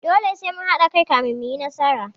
Dole sai mun haɗa kai kafin mu yi nasara.